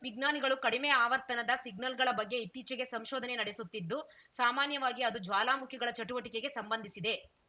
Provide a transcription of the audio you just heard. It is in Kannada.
ವಿಜ್ಞಾನಿಗಳು ಕಡಿಮೆ ಆವರ್ತನದ ಸಿಗ್ನಲ್‌ಗಳ ಬಗ್ಗೆ ಇತ್ತೀಚೆಗೆ ಸಂಶೋಧನೆ ನಡೆಸುತ್ತಿದ್ದು ಸಾಮಾನ್ಯವಾಗಿ ಅದು ಜ್ವಾಲಾಮುಖಿಗಳ ಚಟುವಟಿಕೆಗೆ ಸಂಬಂಧಿಸಿದೆ